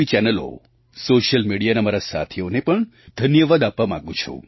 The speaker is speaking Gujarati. ચેનલો સૉશિયલ મિડિયાના મારા સાથીઓને પણ ધન્યવાદ આપવા માગું છું